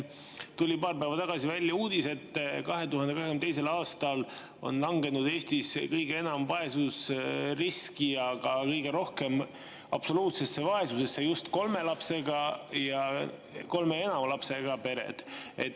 Paar päeva tagasi tuli välja uudis, et 2022. aastal on langenud Eestis kõige enam vaesusriski ja ka kõige rohkem absoluutsesse vaesusesse just kolme ja enama lapsega pered.